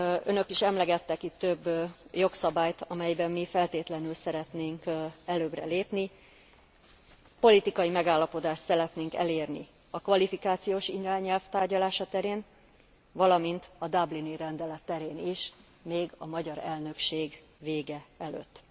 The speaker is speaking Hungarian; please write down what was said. Önök is emlegettek itt több jogszabályt, amelyben mi feltétlenül szeretnénk előbbre lépni. Politikai megállapodást szeretnénk elérni a kvalifikációs irányelv tárgyalása terén, valamint a dublini rendelet terén is, még a magyar elnökség vége előtt.